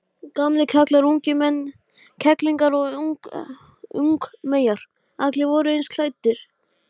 En þetta virtist ekki trufla mig.